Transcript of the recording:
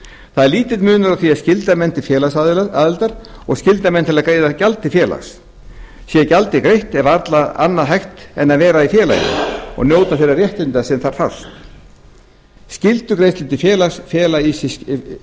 það er lítill munur á því að skylda menn til félagsaðildar og að skylda menn til þess að greiða gjald til félags sé gjaldið greitt er varla annað hægt en að vera í félaginu og njóta þeirra réttinda sem þar fást skyldugreiðslur til félags fela í